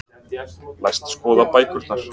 Læst skoða bækurnar.